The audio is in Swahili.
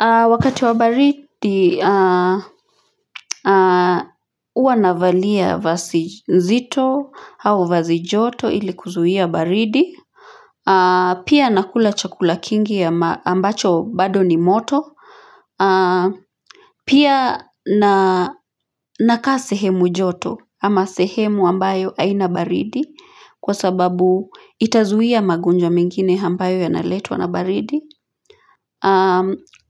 Wakati wa baridi huwa navalia vazi nzito au vazi joto ili kuzuia baridi pia nakula chakula kingi ambacho bado ni moto pia nakaa sehemu joto ama sehemu ambayo haina baridi kwa sababu itazuia magonjwa mengine ambayo yanaletwa na baridi